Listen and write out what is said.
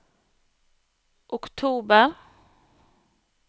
oktober